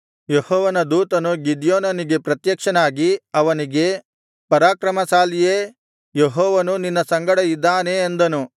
ಯೆಹೋವನ ದೂತನು ಗಿದ್ಯೋನನಿಗೆ ಪ್ರತ್ಯಕ್ಷನಾಗಿ ಅವನಿಗೆ ಪರಾಕ್ರಮಶಾಲಿಯೇ ಯೆಹೋವನು ನಿನ್ನ ಸಂಗಡ ಇದ್ದಾನೆ ಅಂದನು